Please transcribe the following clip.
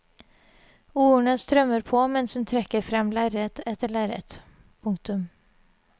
Ordene strømmer på mens hun trekker frem lerret etter lerret. punktum